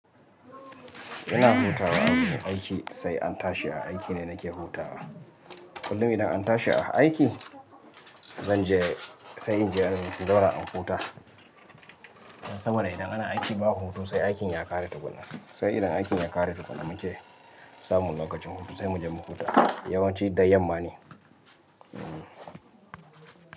Ina hutawa a fiiin aiki, sai an tashi a aiki ne nake hutawa. Kullum idan an tashi a aiki, zan je sai in je in zauna in huta. Saboda idan ana aiki ba hutu sai aikin ya ƙare tukunna. Sai idan aikin ya ƙare tukuna muke samun lokacin hutu sai mu je mu huta. Yawan ci da yamma ne. Hm.